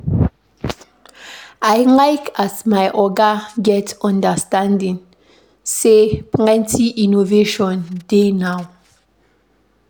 I like as my oga get understanding sey plenty innovation dey now.